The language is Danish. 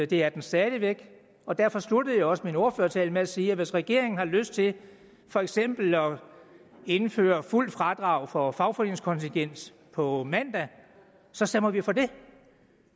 det er den stadig væk og derfor sluttede jeg også min ordførertale med at sige at hvis regeringen har lyst til for eksempel at indføre fuldt fradrag for fagforeningskontingent på mandag så stemmer vi for det